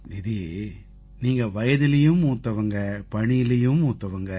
தீதி நீங்க வயதிலயும் மூத்தவங்க பணியிலயும் மூத்தவங்க